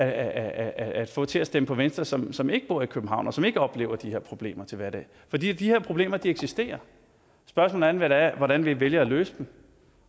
at få til at stemme på venstre som som ikke bor i københavn og som ikke oplever de her problemer til hverdag for de her problemer eksisterer spørgsmålet er hvordan vi vælger at løse dem